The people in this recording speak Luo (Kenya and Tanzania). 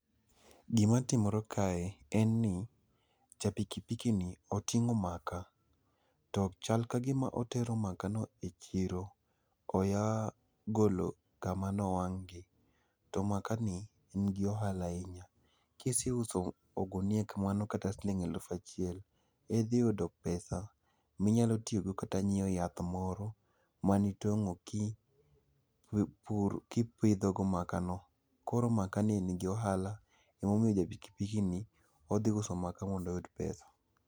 Gimatimore kae, en ni ja pikipikini oting'o maka ,to chal ka gima otero makano e chiro. Oya golo kama nowang'gi, to makani nigi ohala ahinya. Kiseuso ogunia kamano kata siling' aluf achiel, idhi yudo pesa minyalo tiyogo kata nyiewo yath moro manitong'o kipidhogo makano. Koro makani nigi ohala emomiyo ja pikipikini, odhi uso maka mondo oyud pesa.